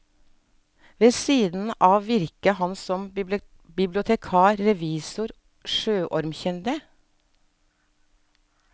Ved siden av virket han som bibliotekar, revisor og sjøormkyndig.